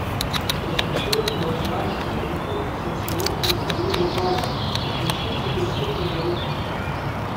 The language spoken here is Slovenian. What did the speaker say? Ko sem šel iz Domžal na Reko, sem se moštvu pridružil pozno, v končnici prestopnega roka.